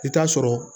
I t'a sɔrɔ